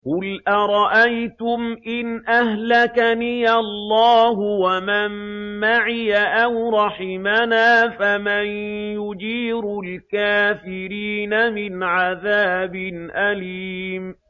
قُلْ أَرَأَيْتُمْ إِنْ أَهْلَكَنِيَ اللَّهُ وَمَن مَّعِيَ أَوْ رَحِمَنَا فَمَن يُجِيرُ الْكَافِرِينَ مِنْ عَذَابٍ أَلِيمٍ